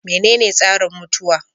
Menene tsarin mutuwa?